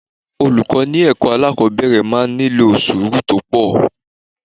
Olùkọ́ ilé ẹ̀kọ́ alákòbẹ̀rẹ̀ máa ń nílò sùúrù tó pọ̀.